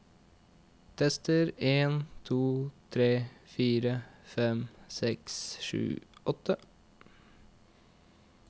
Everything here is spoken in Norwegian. Tester en to tre fire fem seks sju åtte